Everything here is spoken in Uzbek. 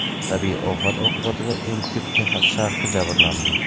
Tabiiy ofat oqibatida eng ko‘p Texas sharqi jabrlandi.